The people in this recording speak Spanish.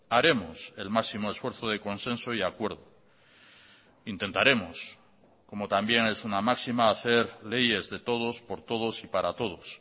haremos el máximo esfuerzo de consenso y acuerdo intentaremos como también es una máxima hacer leyes de todos por todos y para todos